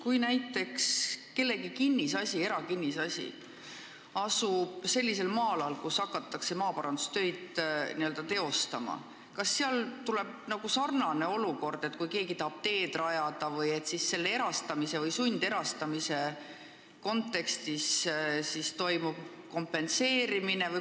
Kui kellegi eraomaniku kinnisasi asub sellisel maa-alal, kus hakatakse maaparandustöid teostama, kas seal tekib samasugune olukord kui siis, kui keegi tahab teed rajada ja siis selles sundseisus toimub maa kompenseerimine?